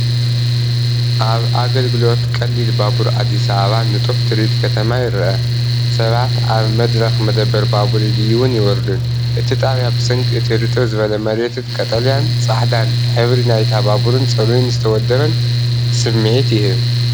ኣብ ኣገልግሎት ቀሊል ባቡር ኣዲስ ኣበባ ንጡፍ ትርኢት ከተማ ይረአ፣ ሰባት ኣብ መድረኽ መደበር ባቡር ይድይቡን ይወርዱን። እቲ ጣብያ ብሰንኪ እቲ ርጥብ ዝበለ መሬትን ቀጠልያን ጻዕዳን ሕብሪ ናይታ ባቡርን ጽሩይን ዝተወደበን ስምዒት ይህብ።